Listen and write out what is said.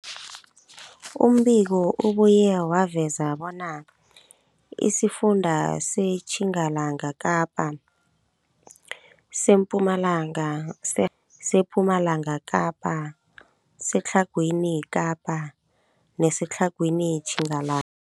Umbiko ubuye waveza bona isifunda seTjingalanga Kapa, seMpumalanga, sePumalanga Kapa, seTlhagwini Kapa neseTlhagwini Tjingala